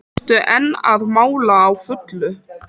Ertu enn að mála á fullu?